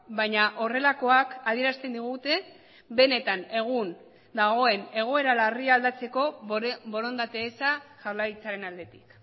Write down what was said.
baina horrelakoak adierazten digute benetan egun dagoen egoera larria aldatzeko borondate eza jaurlaritzaren aldetik